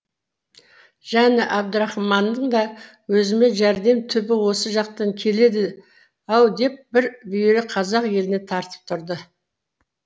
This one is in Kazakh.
және әбдірахманның да өзіме жәрдем түбі осы жақтан келеді ау деп бір бүйірі қазақ еліне тартып тұрды